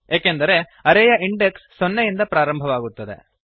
ಏಕೆಂದರೆ ಅರೇ ಯ ಇಂಡೆಕ್ಸ್ ಸೊನ್ನೆಯಿಂದ ಆರಂಭವಾಗುತ್ತದೆ